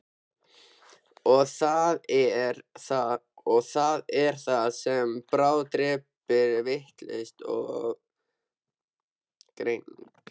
Og það er það sem bráðdrepur, vitlaus greining.